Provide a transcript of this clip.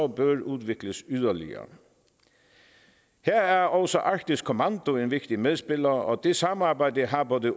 bør udvikles yderligere her er også arktisk kommando en vigtig medspiller og det samarbejde har på det